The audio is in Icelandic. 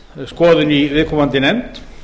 skoðun í viðkomandi nefnd